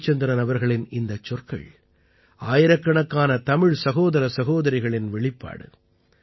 ஜயச்சந்திரன் அவர்களின் இந்தச் சொற்கள் ஆயிரக்கணக்கான தமிழ் சகோதர சகோதரிகளின் வெளிப்பாடு